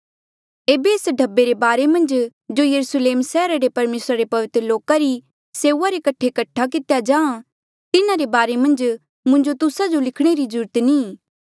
ऐबे एस ढब्बे रे बारे मन्झ जो यरुस्लेम सैहरा रे परमेसरा रे पवित्र लोका री सेऊआ रे कठे कठा कितेया जाहाँ तिन्हारे बारे मन्झ मुंजो तुस्सा जो लिखणे री ज्रूरत नी ई